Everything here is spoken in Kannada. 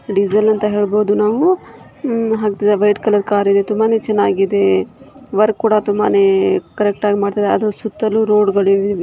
ಡೀಸೆಲ್ ಅಂತ ಹೇಳ್ಬೋದು ನಾವು ವೈಟ್ ಕಲರ್ ಕಾರಿದೆ ತುಂಬಾನೇ ಚೆನ್ನಾಗಿದೆ ವರ್ಕ್ ಕೂಡ ತುಂಬಾನೇ ಕರೆಕ್ಟ್ ಆಗಿ ಮಾಡ್ತಾ ಇದ್ದಾನೆ ಅದು ಸುತ್ತಲೂ ರೋಡ್ ಇದೆ.